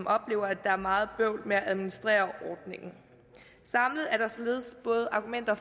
oplever at der er meget bøvl med at administrere ordningen samlet er der således argumenter